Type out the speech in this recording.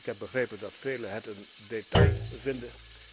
Ik heb begrepen dat velen het een detail vinden.